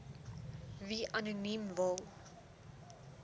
wie anoniem wil